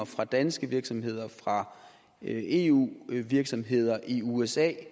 fra danske virksomheder og fra eu virksomheder i usa at